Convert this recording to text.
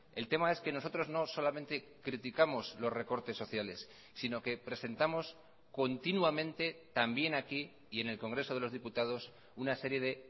el tema es que nosotros no solamente criticamos los recortes sociales sino que presentamos continuamente también aquí y en el congreso de los diputados una serie de